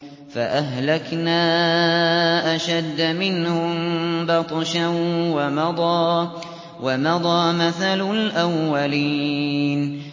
فَأَهْلَكْنَا أَشَدَّ مِنْهُم بَطْشًا وَمَضَىٰ مَثَلُ الْأَوَّلِينَ